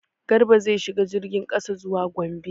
Garba zai shiga jirgin kasa zuwa Gombe.